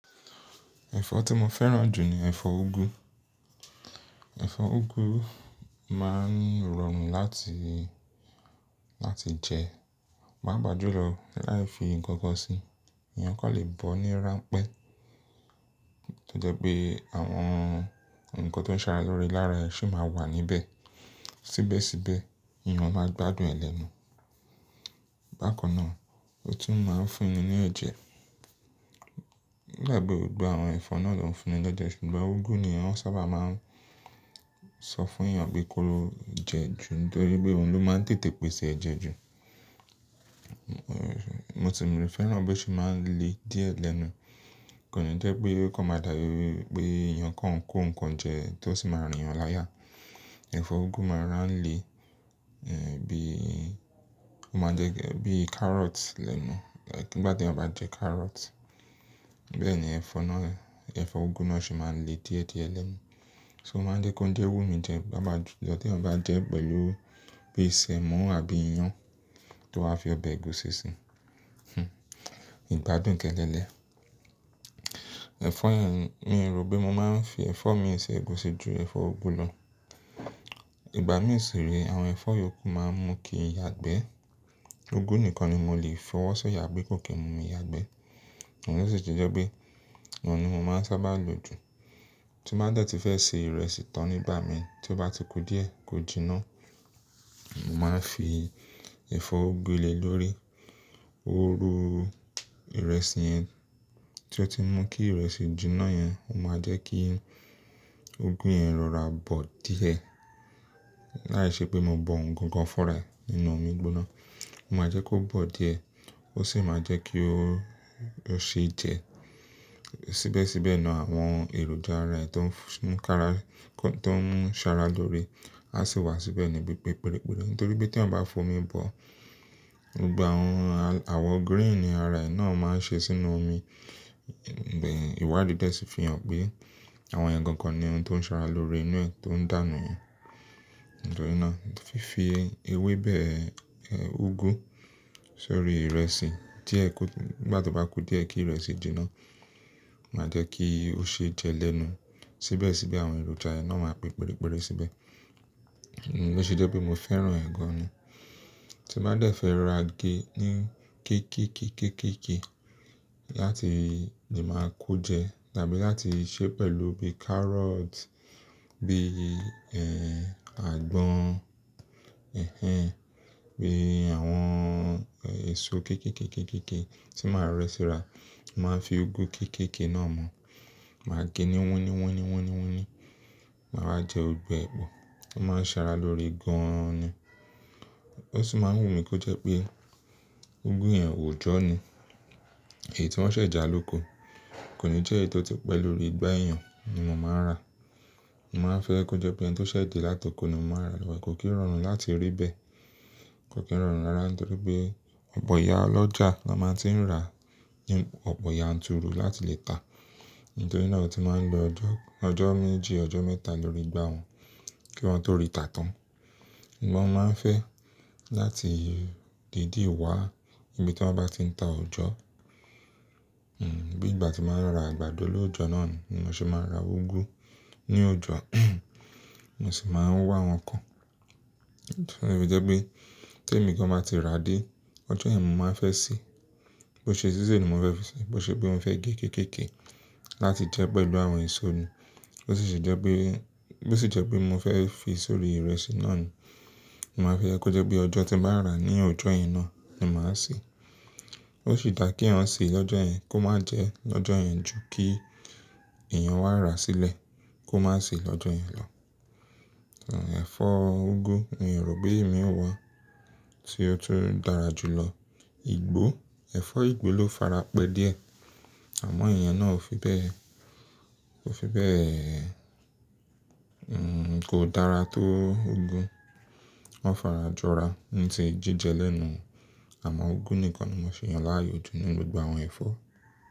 Ẹ̀fọ́ tí mo fẹ́ràn jù ni ẹ̀fọ́ úgú. Ẹ̀fọ́ úgú máa ń rọrùn láti, láti jẹ, papa jú lọ láti fi nǹkan kan sí. Èèyàn kàn lè bọ́ ní ránpẹ́, to je pé àwọn ǹkan tó ń sara lóre lára ẹ̀ sì máa wà níbẹ̀. Síbẹ̀síbẹ̀ èèyàn máa gbádùn e lenu. Bákan náà, ó tún máa ń fún ni ní ẹ̀jẹ̀. Oda pẹ́ gbogbo àwọn ẹ̀fọ́ náà ló ń fún ni leje, ṣùgbọ́n úgú ni wọ́n sábà máa ń sọ fún èèyàn pé kó lo jẹ ju nítorí pé òun ló máa ń tètè pèsè ẹ̀jẹ̀ ju. Mo sì mí fẹ́ràn bó se máa ń le díẹ̀ lẹ́nu. Kò ní jẹ́ pé ó kan máa dàbí pé èèyàn kan ń kó ǹkan jẹ tó sì máa rìn yan láyà. Ẹ̀fọ́ úgú máa rora n le bí, ó máa jẹ́ bí carrot lẹ́nu. Nígbà teyan ba jẹ carrot, bẹ́ẹ̀ ni ẹ̀fọ́ náà, ẹ̀fọ́ úgú náà sì máa ń le díẹ̀díẹ̀ lẹ́nu. So o máa ń jẹ́ kóuńjẹ wù mí jẹ, pa pajulọ́ tí ẹeyan ba jẹ pẹ̀lú bí i sẹ̀mọ́ àbí iyán tó wá fi ọbẹ̀ ẹ̀gúsí si. Hhm ìgbádùn kẹ̀nkẹ́lẹ́. Ẹ̀fọ́ ẹ̀hn, mi rò pé mo máa ń fi ẹ̀fọ́ mi ì ṣẹ̀gúsí ju ẹ̀fọ́ úgú lọ. Ìgbà mìí sì re àwọn ẹ̀fọ́ yòókù máa ń mú kí n yagbẹ́. Úgú nìkan ni mo lè fọwọ́ sọ̀yà pé kò kí n mú mi yagbẹ́. Ó sì jẹ́ pé òun ni mo máa ń sábà lò jù. Tí n bá dẹ̀ tí fẹ́ se ìrẹsì tán nígbà mi tí ó bá ti ku díẹ̀ kó jiná, mo máa ń fi ẹ̀fọ́ úgú le lórí. Óru ìrẹsì yẹn tí ó ti mú kí ìrẹsì jiná yẹn, ó máa jẹ́ kí úgú yẹn rọra bọ́ díẹ̀. Láìṣẹ́ pé mo bọ ohun gangan fun re ẹ nínú omi gbóná. Ó máa jẹ́ kó bọ́ díẹ̀ ó sì máa jẹ́ kí ó, ó se jẹ. Síbẹ̀síbẹ̀ na àwọn èròjà ara ẹ tó ń f-- mú kára, kó tó ń sara lóre á sì wá síbẹ̀ níbi pípepẹreperẹ nítorí pé tí eeyan ba fomi bọ́, gbogbo àwọn al-- àwọ greeni ara ẹ̀ náà máa ń ṣe sínú omi. Bẹ́ẹ̀ ìwádìí de sì fi hàn pé àwọn ẹiyen gàn gan ni ohun tó ń sara lórí inú ẹ tó ń dànù yen. Nítorí náà fífi ewébẹ̀ úgú sórí ìrẹsì díẹ̀ kó ti, nígbà tí ó bá ku díẹ̀ kí ìrẹsì jiná máa jẹ́ kí ó sì jẹ́ lẹ́nu. Síbẹ̀síbẹ̀ àwọn èròjà ara ẹ̀ náà máa peperepẹrẹ síbẹ̀. Lo se jẹ́ pé mo fẹ́ràn e gàn ni. Tí n bá dẹ̀ fẹ́ ra gé ní ké ké ké ké ké ké láti le máa kó jẹ tàbí láti sè pẹ̀lú bíi carrot, bí àgbọ̀n, hinhin, bí àwọn èso ké ké ké ké ké ké tí màá rẹ́ síra, mo màá n fi úgú ké ké ké náà mọ́. Màá gé ní wóní wóní wóní wóní. Màá wá jẹ gbogbo ẹ̀ pọ̀. Ó máa ń sara lórí gan ni. Ó sì máa ń wù mí kó jẹ́ pé úgú yẹn òojọ ni. Èyí tí wọ́n ṣẹ̀ jà lóko kò ní jẹ́ èyí tó ti pẹ́ lórí igbá ẹeyàn ni mo máa ń rà. Mo máa ń fẹ́ kó jẹ́ pé ẹni tó ṣẹ̀ dé látoko ni mo máa ń rà lọ́wọ́ e. Kò kí n rọrùn láti rí bẹ́ẹ̀. Kò kí rọrùn rárá nítorí pé ọ̀pọ̀ ìyá ọlọ́jà ló máa n tí ń rà ní ọ̀pọ̀ yan turu láti lè ta. Nítorí náà ó ti máa ń lo ọjọ́, ọjọ́ méjì ọjọ́ mẹ́ta lórí igbá wọn kí wọ́n tó rí tà tán. Mo wa máa ń fẹ́ láti dìdí wá níbi tí wọ́n bá ti ń ta òjọ́. Hmm bí ìgbà tí màá ń lọ ra àgbàdo lóojọ́ náà ni mo se máa ń ra úgú ní ọja mo sì máa ń wá wọn kan. Lo si fi jẹ́ pé temí gan máa ba ti rà dé, ọjọ́ yẹn mo máa n fẹ́ sè. Bó ṣe sísè ni mo fẹ́ fi sè, bó ṣe pe mo fẹ́ gé ké ké ké láti jẹ pẹ̀lú àwọn èso ni. Bó sì ṣe jẹ́ pé, bó sì jẹ́ pé mo fẹ́ fi sórí ìrẹsì náà ni, màá fẹ́ ẹ kó jẹ́ pé ọjọ́ tí màá rà ní ọjọ́ yẹn náà ni màá sè. Ó sì dà kí eeyan ṣe lọ́jọ́ yẹn kó má jẹ lọ́jọ́ yẹn ju kí èèyàn wá ra sílẹ̀ kó má sè lọ́jọ́ yẹn lọ. Ẹ̀fọ́ úgú mi o rò pé imi wa tí ó tun dára jù lọ. Igbó, ẹ̀fọ́ ìgbó ló farapẹ́ díẹ̀ àmọ́ èèyàn náà ò fi bẹ́ẹ̀, ò fi bẹ́ẹ̀ kò dára tó úgú. Wọ́n fara jọ ra ní ti jíjẹ lẹ́nu àmọ́ úgú nìkan ni mo si yàn láàyò jù ní gbogbo àwọn ẹ̀fọ́.